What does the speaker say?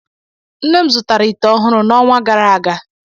Nne m zụtara ite ọhụrụ n'ọnwa gara aga.